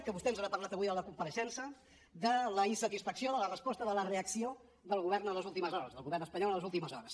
que vostè ens n’ha parlat avui a la compareixença de la insatisfacció de la resposta de la reacció del govern en les últimes hores del govern espanyol en les últimes hores